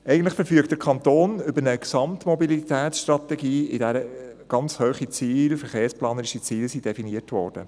Eigentlich verfügt der Kanton über eine Gesamtmobilitätsstrategie, in welcher ganz hohe verkehrsplanerische Ziele definiert wurden.